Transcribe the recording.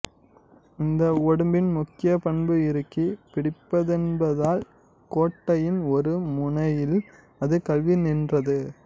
இந்த ஒடும்பின் முக்கிய பண்பு இறுக்கி பிடிப்பதென்பதால் கோட்டையின் ஒரு முனையில் அது கவ்வி நின்றது